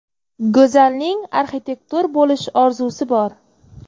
Go‘zalning arxitektor bo‘lish orzusi bor.